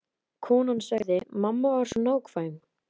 Konan sagði: Mamma var svo nákvæm.